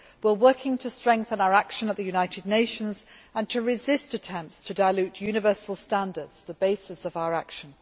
We are working to strengthen our action at the United Nations and to resist attempts to dilute universal standards, the basis of our action.